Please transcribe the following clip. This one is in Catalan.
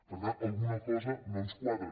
per tant alguna cosa no ens quadra